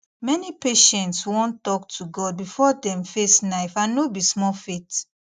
many patients wan talk to god before dem face knife and no be small faith